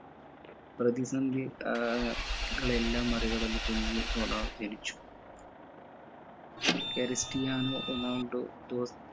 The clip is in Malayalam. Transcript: പ്രതിസന്ധി ആഹ് കളെല്ലാം മറികടന്ന് കുഞ്ഞ് റൊണാൾ ജനിച്ചു ക്രിസ്ത്യനോ റൊണാൾഡോ